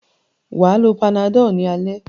Wà á lo Panadol ní alẹ́.